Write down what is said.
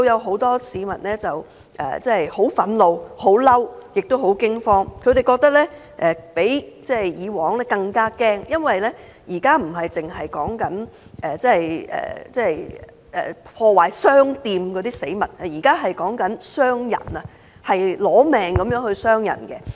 很多市民對我表示很憤怒，也很驚慌，他們覺得比以往更害怕，因為現在說的不是破壞商店等死物，而是傷人，奪命般的傷人。